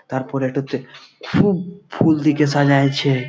তার পরে একটাতে খুব ফুল দিকে সাজাইছে ।